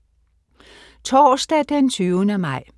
Torsdag den 20. maj